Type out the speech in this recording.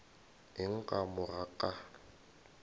eng ka mo ga ka